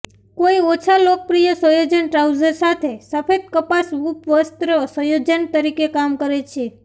કોઈ ઓછા લોકપ્રિય સંયોજન ટ્રાઉઝર સાથે સફેદ કપાસ ઉપવસ્ત્ર સંયોજન તરીકે કામ કરે છે